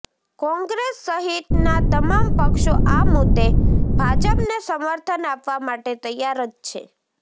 કોંગ્રેસ સહિતના તમામ પક્ષો આ મુદ્દે ભાજપને સમર્થન આપવા માટે તૈયાર જ છે